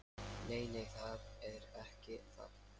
Nei, nei, það er ekki það.